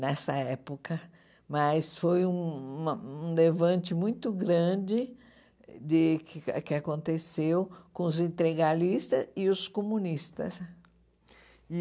nessa época, mas foi uma um levante muito grande de que que aconteceu com os integralistas e os comunistas.